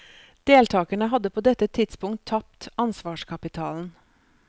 Deltagerne hadde på dette tidspunkt tapt ansvarskapitalen.